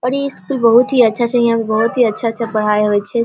और इ स्कूल बहुत ही अच्छा छै यहाँ पे बहुत अच्छा-अच्छा पढाई होय छै।